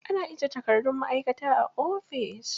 Ana ajiye takardun ma'aikata a ofis.